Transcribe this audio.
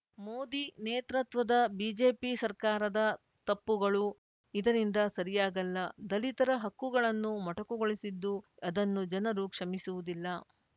ಮೋದಿ ನೇತೃತ್ವದ ಬಿಜೆಪಿ ಸರ್ಕಾರದ ತಪ್ಪುಗಳು ಇದರಿಂದ ಸರಿಯಾಗಲ್ಲ ದಲಿತರ ಹಕ್ಕುಗಳನ್ನು ಮೊಟಕುಗೊಳಿಸಿದ್ದು ಅದನ್ನು ಜನರು ಕ್ಷಮಿಸುವುದಿಲ್ಲ